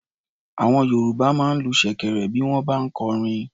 Àwọn Yorùbá máa ń lu ṣèkẹ̀rẹ̀ bí wọ́n bá ń kọrin.